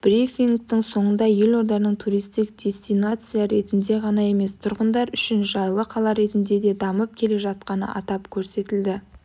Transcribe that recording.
брифингтің соңында елорданың туристік дестинация ретінде ғана емес тұрғындар үшін жайлы қала ретінде де дамып келе жатқаны атап көрсетілді